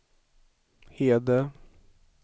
Hede